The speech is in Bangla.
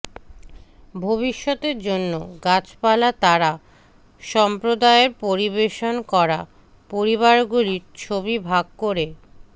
ভবিষ্যতের জন্য গাছপালা তারা সম্প্রদায়ের পরিবেশন করা পরিবারগুলির ছবি ভাগ করে